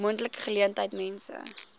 moontlike geleentheid mense